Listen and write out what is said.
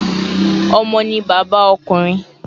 Omo ni baba okunrin